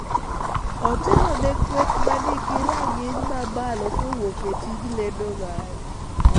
Otelo ne kweth ma nigi rang�iny mamalo kowuok e tij lendo mare